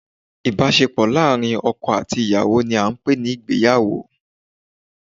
Ìbásepò láàrín oko àti ìyàwó ni a n pè ní Ìgbéyàwó